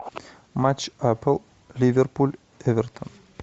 матч апл ливерпуль эвертон